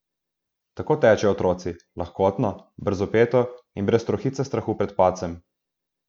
Tako tečejo otroci, lahkotno, brzopeto in brez trohice strahu pred padcem.